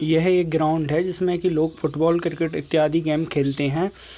यह एक ग्राउंड है जिसमें की लोग फ़ूटबॉल क्रिकेट इत्यादि गेम खेलते हैं ।